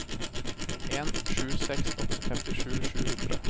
en sju seks åtte femtisju sju hundre